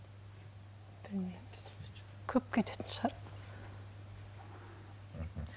көп кететін шығар мхм